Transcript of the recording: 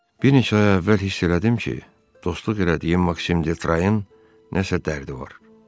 Bir neçə ay əvvəl hiss elədim ki, dostluq elədiyim Maksim de Trayenin nəsə dərdi var.